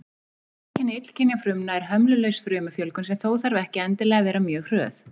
Einkenni illkynja frumna er hömlulaus frumufjölgun, sem þó þarf ekki endilega að vera mjög hröð.